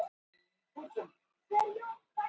Kom ég frá útlöndum?